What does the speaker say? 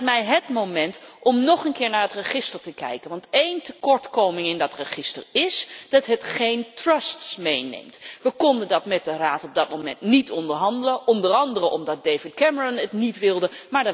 Dat lijkt mij hét moment om nog een keer naar het register te kijken, want één tekortkoming in dat register is dat het geen trusts meeneemt. We konden dat met de Raad op dat moment niet onderhandelen, onder andere omdat David Cameron dat niet wilde.